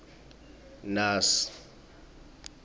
naas